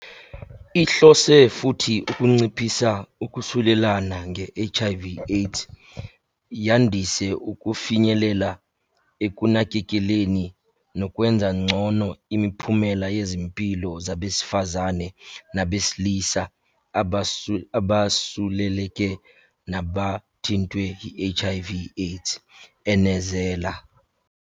"Ihlose futhi ukunciphisa ukusulelana nge-HIV - AIDS, yandise ukufinyelela ekunakekeleleni nokwenza ngcono imiphumela yezempilo kubesifazane nabesilisa abasuleleke nabathintwe yi-HIV - AIDS," enezela.